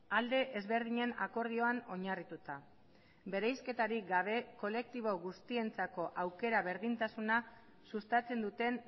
alde ezberdinen akordioan oinarrituta bereizketarik gabe kolektibo guztientzako aukera berdintasuna sustatzen duten